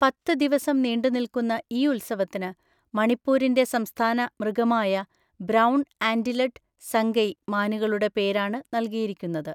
പത്ത് ദിവസം നീണ്ടുനിൽക്കുന്ന ഈ ഉത്സവത്തിന് മണിപ്പൂരിൻ്റെ സംസ്ഥാന മൃഗമായ ബ്രൗൺ ആന്റിലഡ് സംഗൈ മാനുകളുടെ പേരാണ് നൽകിയിരിക്കുന്നത്.